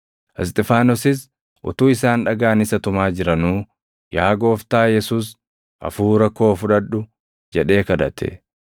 Isxifaanosis utuu isaan dhagaan isa tumaa jiranuu, “Yaa Gooftaa Yesuus, hafuura koo fudhadhu” jedhee kadhate.